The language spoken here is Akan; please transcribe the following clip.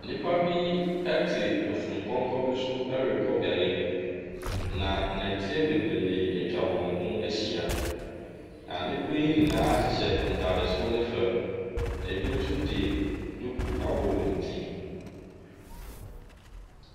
Nnipa bi te afurupɔnkɔ bi so ɛrekɔ beaeɛ bi. Na nnɔte bebree atwa wɔn ho ahyia. Na nnipa ne nyinaa hyehyɛ ntaade soro ne fam, bi nso de duku abɔ wɔ wɔn ti so.